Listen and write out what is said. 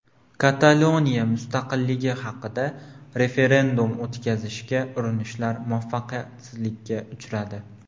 Kataloniya mustaqilligi haqida referendum o‘tkazishga urinishlar muvaffaqiyatsizlikka uchradi.